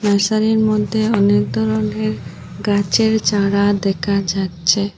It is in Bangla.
মশাড়ির মধ্যে অনেক ধরনের গাছের চারা দেখা যাচ্ছে।